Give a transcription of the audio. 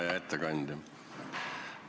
Hea ettekandja!